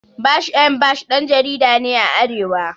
Bash M Bash ɗan jarida ne a arewa